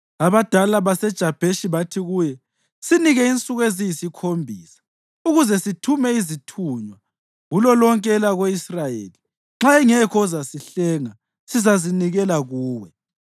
Abadala baseJabheshi bathi kuye, “Sinike insuku eziyisikhombisa ukuze sithume izithunywa kulolonke elako-Israyeli; nxa engekho ozasihlenga sizazinikela kuwe.”